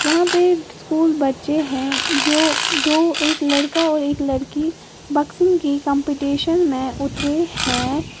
वहां पे स्कूल बच्चे हैं जो दो एक लड़का और एक लड़की बॉक्सिंग की कंपटीशन में उतरे हैं।